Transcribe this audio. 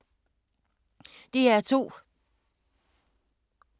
DR2